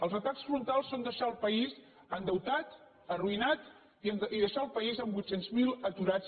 els atacs frontals són deixar el país endeutat arruïnat i deixar el país amb vuit cents mil aturats